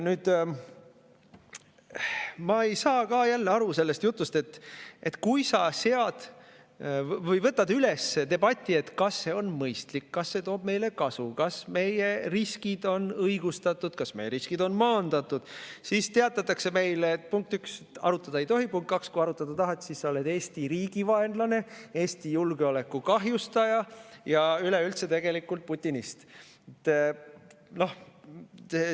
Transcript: Ma ei saa aru sellest jutust, et kui sa võtad üles debati, et kas see on mõistlik, kas see toob meile kasu, kas meie riskid on õigustatud, kas meie riskid on maandatud, siis teatatakse meile, et punkt üks, arutada ei tohi, punkt kaks, kui arutada tahad, siis sa oled Eesti riigi vaenlane, Eesti julgeoleku kahjustaja ja üleüldse putinist.